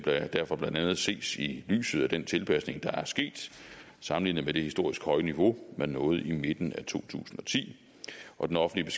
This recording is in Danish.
derfor blandt andet ses i lyset af den tilpasning der er sket sammenlignet med det historisk høje niveau man nåede i midten af to tusind og ti og den offentlige